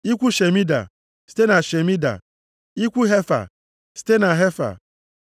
Ikwu Shemida, site na Shemida, ikwu Hefa, site na Hefa.